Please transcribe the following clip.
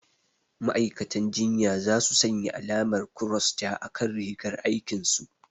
Ma'aikatan jinya za su sanya alamar kross ja a kan rigar aikin su